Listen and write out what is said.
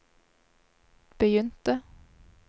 begynte